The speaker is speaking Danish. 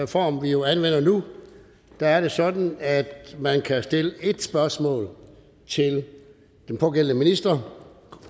form vi jo anvender nu er det sådan at man kan stille en spørgsmål til den pågældende minister